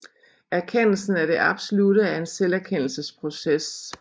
Erkendelsen af det absolutte er en selverkendelsesproces